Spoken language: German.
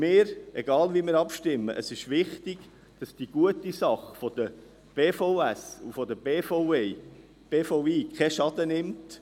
Egal, wie wir abstimmen, ist es wichtig, dass die gute Sache des Berufsvorbereitenden Schuljahrs (BVS) und des Berufsvorbereitenden Schuljahrs Praxis und Integration (BPI) keinen Schaden nimmt.